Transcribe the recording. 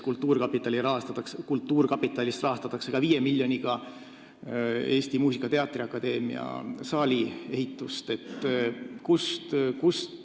Kultuurkapitalist rahastatakse näiteks 5 miljoniga ka Eesti Muusika- ja Teatriakadeemia saali ehitust.